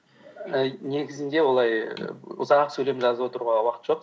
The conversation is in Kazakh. і негізінде олай ұзақ сөйлем жазып отыруға уақыт жоқ